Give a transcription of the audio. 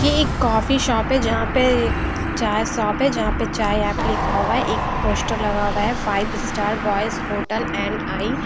ये एक coffee shop है जहाँं पे चाय शॉप है जहाँं पे चाय ऐप लिखा हुआ है एक पोस्टर लगा हुआ है five star boys hotel and I --